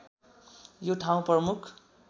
यो ठाउँ प्रमुख